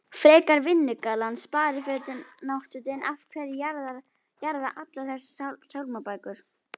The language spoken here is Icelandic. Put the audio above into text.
frekar vinnugallann sparifötin náttfötin af hverju jarða allar þessar sálmabækur?